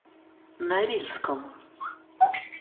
норильском